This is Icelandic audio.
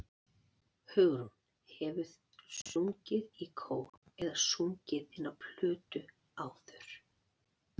Hugrún: Hefurðu sungið í kór eða sungið inn á plötu áður?